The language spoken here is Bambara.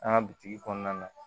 An ka bitigi kɔnɔna na